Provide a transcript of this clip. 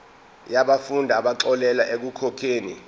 yabafundi abaxolelwa ekukhokheni